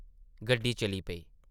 गड्डी चली पेई ।